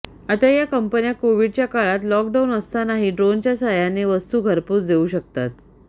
आता या कंपन्या कोव्हिडच्या काळात लॉकडाऊन असतानाही ड्रोनच्या साहाय्याने वस्तू घरपोच देऊ शकतात